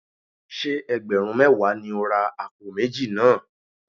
Ṣé ẹgbẹ̀rún mẹ́wàá ni ó ra àpò méjì náà?